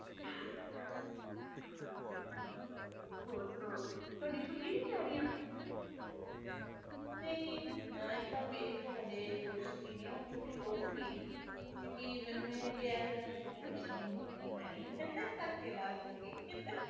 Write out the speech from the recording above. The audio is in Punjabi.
ਤਿੰਨ ਮਹੀਨੇ ਰਹਿੰਦੀਆਂ ਬਰਸਾਤ ਕਿਸੇ ਵੀ time ਆ ਜਾਂਦੇ ਹੈ ਪਤਾ ਨੀ ਹੁੰਦਾ ਗਰਮੀ ਅੱਗੇ ਮਈ ਤੋਂ ਸ਼ੁਰੂ ਹੁੰਦੀ ਸੀ ਤੇ ਅਗਸਤ ਵਿਚ ਖਤਮ ਹੋ ਜਾਂਦੇ ਸੀ